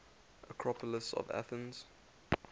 acropolis of athens